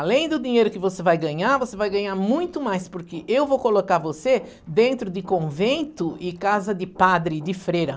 Além do dinheiro que você vai ganhar, você vai ganhar muito mais, porque eu vou colocar você dentro de convento e casa de padre, de freira.